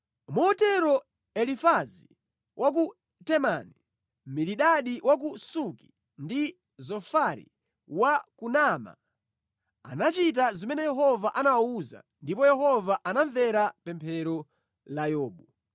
Motero Elifazi wa ku Temani, Bilidadi wa ku Suki ndi Zofari wa ku Naama anachita zimene Yehova anawawuza ndipo Yehova anamvera pemphero la Yobu.